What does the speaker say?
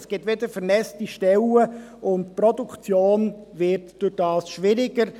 Es gibt wieder vernässte Stellen, und die Produktion wird dadurch schwieriger.